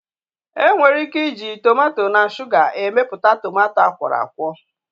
Enwere ike iji tomato na shuga emepụta tomato akwọrọakwọ